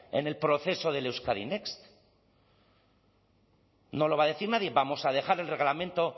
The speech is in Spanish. en el proceso del euskadi next no lo va a decir nadie vamos a dejar el reglamento